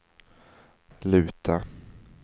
luta